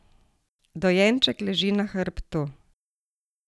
Dojenček leži na hrbtu.